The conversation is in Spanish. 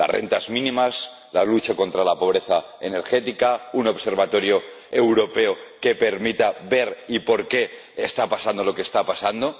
Las rentas mínimas, la lucha contra la pobreza energética, un observatorio europeo que permita ver lo que está pasando hoy y por qué está pasando.